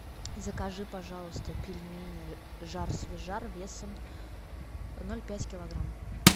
закажи пожалуйста пельмени жар свежар весом ноль пять килограмм